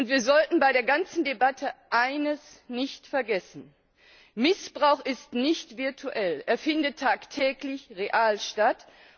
Wir sollten bei der ganzen Debatte eines nicht vergessen Missbrauch ist nicht virtuell, er findet tagtäglich real statt.